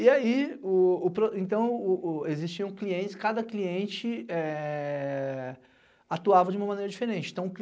E aí, o, então, existiam clientes, cada cliente atuava de uma maneira diferente.